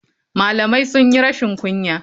Malamai sunyi rashin kunya.